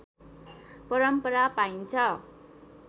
परम्परा पाइन्छ